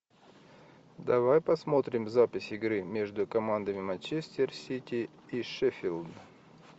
давай посмотрим запись игры между командами манчестер сити и шеффилд